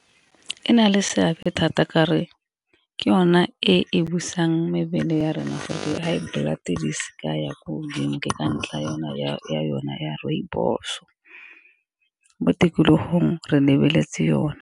E nale seabe thata kare ke yone e e busang mebele ya rona gore di-high blood di sa ya ko godimo, ke ka ntla yona ya yona ya rooibos-o mo tikologong re lebeletse yone.